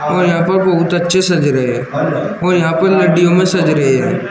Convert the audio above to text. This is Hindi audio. और यहां पर बहुत अच्छे सज रहे हैं और यहां पर में सज रहे हैं।